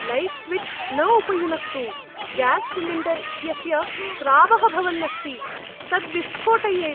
Light switch न उपयुनक्तु। Gas cylinder इत्यस्य स्रावः भवन्नस्ति, तत् विस्फोटयेत्।